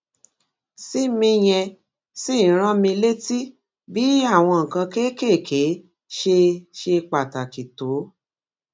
sí mi yẹn ṣì ń rán mi létí bí àwọn nǹkan kéékèèké ṣe ṣe pàtàkì tó